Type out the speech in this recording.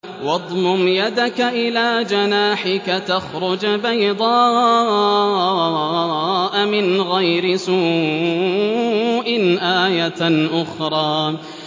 وَاضْمُمْ يَدَكَ إِلَىٰ جَنَاحِكَ تَخْرُجْ بَيْضَاءَ مِنْ غَيْرِ سُوءٍ آيَةً أُخْرَىٰ